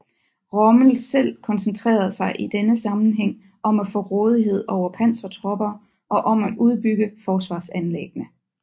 Rommel selv koncentrerede sig i denne sammenhæng om at få rådighed over pansertropper og om at udbygge forsvarsanlæggene